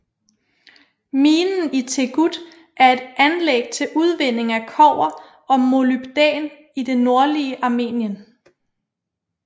Minen i Teghut er et anlæg til udvinding af kobber og molybdæn i det nordlige Armenien